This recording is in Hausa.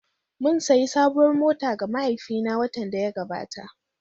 Mun sayi sabuwar mota ga mahaifina watan da ya gabata